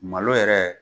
Malo yɛrɛ